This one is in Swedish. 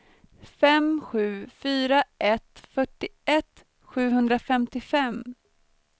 fem sju fyra ett fyrtioett sjuhundrafemtiofem